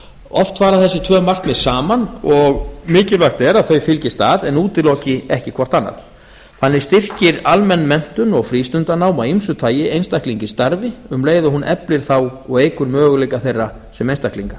oft fara þessi tvö markmið saman og mikilvægt er að þau fylgist að en útiloki ekki hvort annað þannig styrkir almenn menntun og frístundanám af ýmsu tagi einstaklinga í starfi um leið og hún eflir þá og eykur möguleika þeirra sem einstaklinga